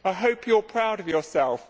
I hope you are proud of yourself.